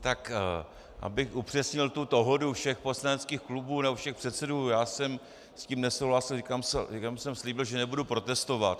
Tak abych upřesnil tu dohodu všech poslaneckých klubů nebo všech předsedů, já jsem s tím nesouhlasil, jenom jsem slíbil, že nebudu protestovat.